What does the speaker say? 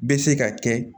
Bɛ se ka kɛ